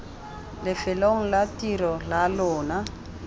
lefelong la tiro la lona